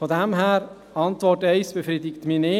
Von daher: Die Antwort 1 befriedigt mich nicht.